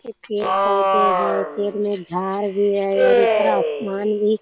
ये पेड़-पौधे हैं पेड़ में झाड़ भी है और ऊपर आसमान भी --